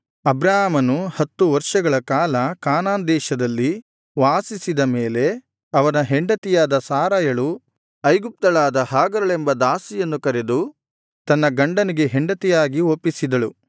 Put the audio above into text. ಅಬ್ರಾಮನು ಹತ್ತು ವರ್ಷಗಳ ಕಾಲ ಕಾನಾನ್ ದೇಶದಲ್ಲಿ ವಾಸಿಸಿದ ಮೇಲೆ ಅವನ ಹೆಂಡತಿಯಾದ ಸಾರಯಳು ಐಗುಪ್ತಳಾದ ಹಾಗರಳೆಂಬ ದಾಸಿಯನ್ನು ಕರೆದು ತನ್ನ ಗಂಡನಿಗೆ ಹೆಂಡತಿಯಾಗಿ ಒಪ್ಪಿಸಿದಳು